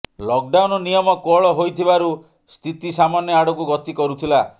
lock down ନିୟମ କୋହଳ ହୋଇଥିବାରୁ ସ୍ଥିତି ସାମାନ୍ୟ ଆଡ଼କୁ ଗତି କରୁଥିଲା